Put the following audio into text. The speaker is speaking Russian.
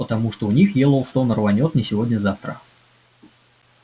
потому что у них йеллоустон рванёт не сегодня-завтра